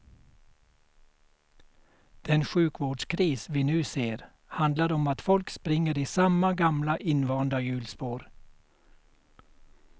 Den sjukvårdskris vi nu ser handlar om att folk springer i samma gamla invanda hjulspår.